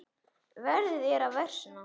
Veðrið er að versna.